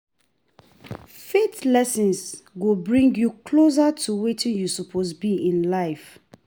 Faith lessons go bring yu closer to wetin yu soppose bi in life.